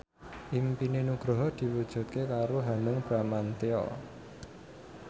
impine Nugroho diwujudke karo Hanung Bramantyo